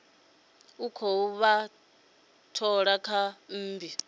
khou vha thola kha mmbi